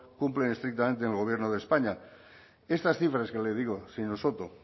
cumplen estrictamente en el gobierno de españa estas cifras que le digo señor soto